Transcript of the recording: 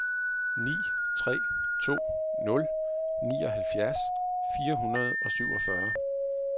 ni tre to nul nioghalvfjerds fire hundrede og syvogfyrre